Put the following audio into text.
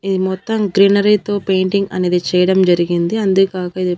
ఇది మొత్తం గ్రీనరీ తో పెయింటింగ్ అనేది చేయడం జరిగింది అంతేగాక ఇది.